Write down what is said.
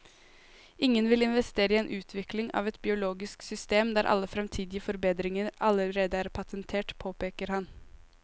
Ingen vil investere i utvikling av et biologisk system der alle fremtidige forbedringer allerede er patentert, påpeker han.